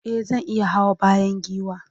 e zan iya Hawa bayan giwa